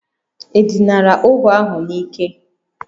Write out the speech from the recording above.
E dinara ohu ahụ n'ike?